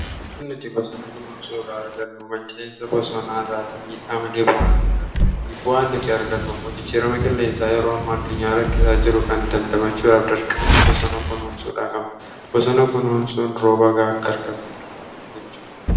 an nuti bosanoo konoon suu irraa argannu mancaiinsa bosonaa irraati miidhaa malee bu'aan argannuun mibu'aan nuti argannun mojjichiirama killeensaa yeroo amma addunyaa rakkisaa jiru kan damdamachuu iraaf darqama bosanoo konoon suu raa kamnu bosano kunoun suun roobagaa akka argannuunn anajechu